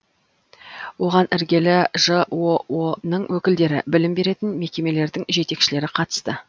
оған іргелі жоо ның өкілдері білім беретін мекемелердің жетекшілері қатысты